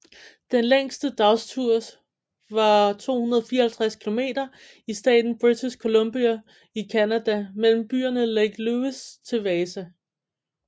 Den længste dagstur var 254 km i staten British Columbia i Canada mellem byerne Lake Louise til Wasa